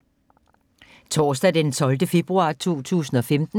Torsdag d. 12. februar 2015